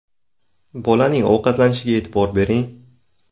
Bolaning ovqatlanishiga e’tibor bering.